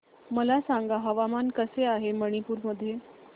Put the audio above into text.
मला सांगा हवामान कसे आहे मणिपूर मध्ये